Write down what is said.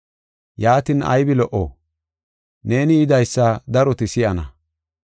Yaatin aybi lo77o? Neeni yidaysa daroti si7ana.